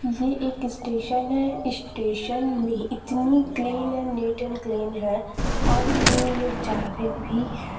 ये एक स्टेशन है स्टेशन में इतनी clean and neat and clean है और तीन लोग जा रे भी हैं।